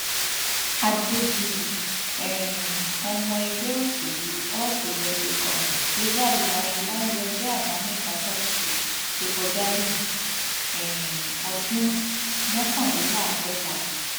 adégbùyí um ọmọ ẹgbẹ òṣèlú all progressives congress ló jáde láyé lálẹ ọjọ àbámẹta sátidé tó kọjá léni um ọdún mọkànléláàádọta